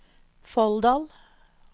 Folldal